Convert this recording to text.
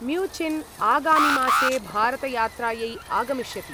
Mnuchin आगामिमासे भारतयात्रायै आगमिष्यति।